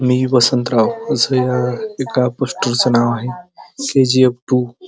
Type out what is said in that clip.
मी वसंतराव असे एका पोस्टरचे नाव आहे सी.जी.एफ टू --